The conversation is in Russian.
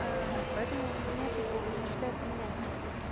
а поэтому у меня как бы он считается мягкий